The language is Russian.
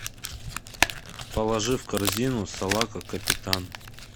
положи в корзину салака капитан